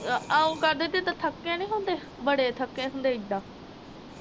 ਆਓਗਾ ਬੇਬੇ, ਦਾਥਕੇ ਨੀ ਹੁੰਦੇ, ਬੜੇ ਥਕੇ ਹੁੰਦੇ ਇਦਾ